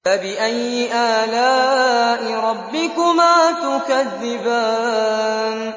فَبِأَيِّ آلَاءِ رَبِّكُمَا تُكَذِّبَانِ